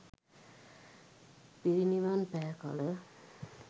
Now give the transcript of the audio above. පිරිනිවන් පෑ කළ